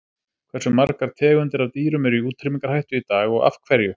Hversu margar tegundir af dýrum eru í útrýmingarhættu í dag og af hverju?